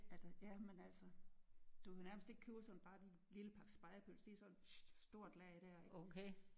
Ja da ja men altså du kan nærmest ikke købe sådan bare en lille pakke spegepølse de er sådan et stort lag der